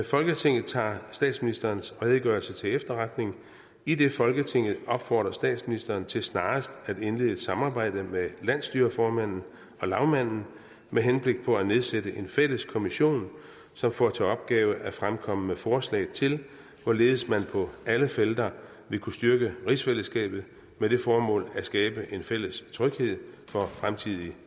folketinget tager statsministerens redegørelse til efterretning idet folketinget opfordrer statsministeren til snarest at indlede et samarbejde med landsstyreformanden og lagmanden med henblik på at nedsætte en fælles kommission som får til opgave at fremkomme med forslag til hvorledes man på alle felter vil kunne styrke rigsfællesskabet med det formål at skabe en fælles tryghed for fremtidige